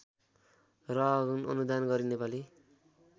र अनुदान गरी नेपाली